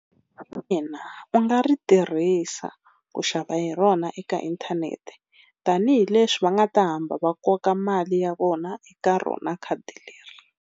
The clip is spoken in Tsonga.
Ina u nga ri tirhisa ku xava hi rona eka inthanete, tanihileswi va nga ta hamba va koka mali ya vona eka rona khadi leri.